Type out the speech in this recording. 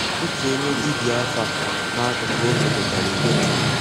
Ótú ónyé dìbíá àfà n'àkụ́kụ́ ụ́zọ̀ dòtárà ígwè mmàdú.